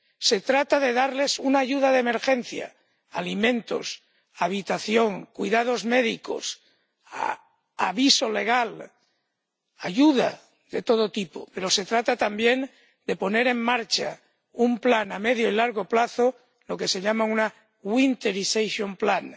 Se trata de darles una ayuda de emergencia —alimentos, habitación, cuidados médicos, ayuda legal, ayuda de todo tipo—, pero se trata también de poner en marcha un plan a medio y largo plazo, lo que se llama un winterization plan